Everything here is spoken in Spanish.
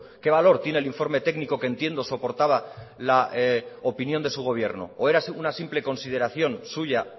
qué valor tiene el informe técnico que entiendo soportaba la opinión de su gobierno o era una simple consideración suya